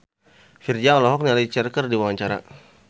Virzha olohok ningali Cher keur diwawancara